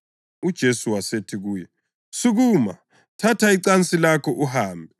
UJesu wasethi kuye, “Sukuma! Thatha icansi lakho uhambe.”